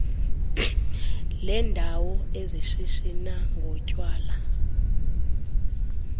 leendawo ezishishina ngotywala